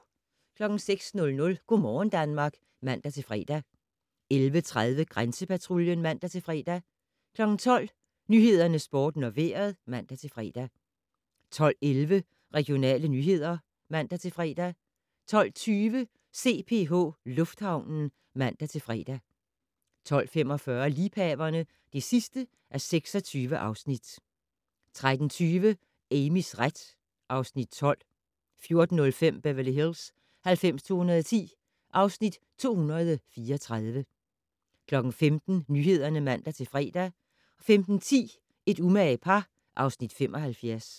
06:00: Go' morgen Danmark (man-fre) 11:30: Grænsepatruljen (man-fre) 12:00: Nyhederne, Sporten og Vejret (man-fre) 12:11: Regionale nyheder (man-fre) 12:20: CPH Lufthavnen (man-fre) 12:45: Liebhaverne (26:26) 13:20: Amys ret (Afs. 12) 14:05: Beverly Hills 90210 (Afs. 234) 15:00: Nyhederne (man-fre) 15:10: Et umage par (Afs. 75)